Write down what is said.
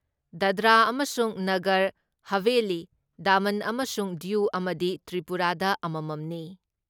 ꯗꯥꯗ꯭ꯔꯥ ꯑꯃꯁꯨꯡ ꯅꯒꯔ ꯍꯥꯚꯦꯂꯤ, ꯗꯥꯃꯟ ꯑꯃꯁꯨꯡ ꯗ꯭ꯌꯨ ꯑꯃꯗꯤ ꯇ꯭ꯔꯤꯄꯨꯔꯥꯗ ꯑꯃꯃꯝꯅꯤ ꯫